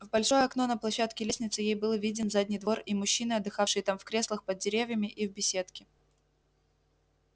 в большое окно на площадке лестницы ей был виден задний двор и мужчины отдыхавшие там в креслах под деревьями и в беседке